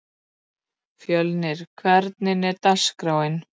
Fjölnir, hvernig er dagskráin?